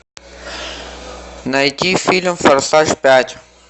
найти фильм форсаж пять